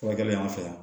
Furakɛli y'an fɛ yan